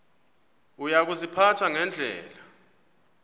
uya kuziphatha ngendlela